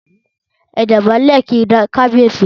Ẹ dọ̀bálẹ̀ kí kábíyèsí!